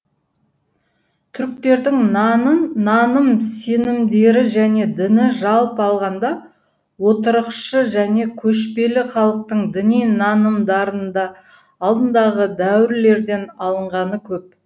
түріктердің наным сенімдері және діні жалпы алғанда отырықшы және көшпелі халықтың діни нанымдарында алдындағы дәуірлерден алынғаны көп